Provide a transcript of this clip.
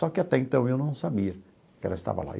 Só que, até então, eu não sabia que ela estava lá.